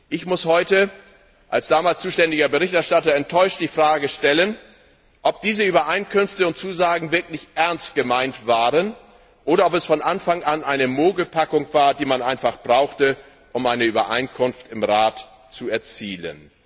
Ich muss heute als damals zuständiger Berichterstatter enttäuscht die Frage stellen, ob diese Übereinkünfte und Zusagen wirklich ernst gemeint waren oder ob es von Anfang an eine Mogelpackung war, die man einfach brauchte, um eine Übereinkunft im Rat zu erzielen.